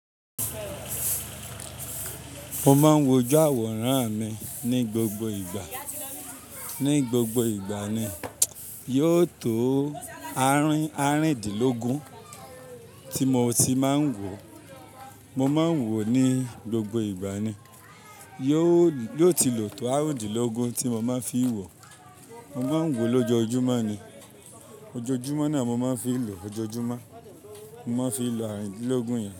Mo máa ń wojú àwòrán mi ní gbogbo ìgbà. Ní gbogbo ìgbà ni. Yóò tó àárín àarìndínlógún tí mo ti máa ń wò. Mo máa ń wò ní gbogbo ìgbà ni. Yóò ti lo to àarùndínlógún tí mo máa fi n wò. Mo máa ń wò lójoojúmọ́ ni. Ojoojúmọ́ na mo máa ń fi n lò. Ojoojúmọ́. Mo máa ń fi lò àarìndínlógún yẹn.